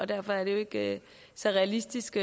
derfor er det ikke så realistisk